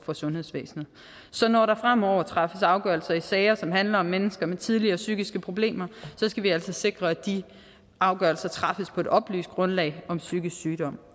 for sundhedsvæsenet så når der fremover træffes afgørelser i sager som handler om mennesker med tidligere psykiske problemer skal vi altså sikre at de afgørelser træffes på et oplyst grundlag om psykisk sygdom